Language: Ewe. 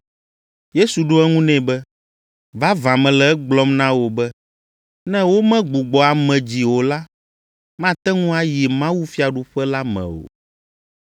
Yesu ɖo eŋu nɛ be, “Vavã mele egblɔm na wò be, ne womegbugbɔ ame dzi o la, mate ŋu ayi mawufiaɖuƒe la me o.”